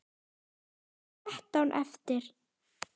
Það voru þrettán eftir!